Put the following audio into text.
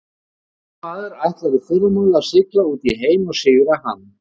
Ungur maður ætlar í fyrramálið að sigla út í heim og sigra hann.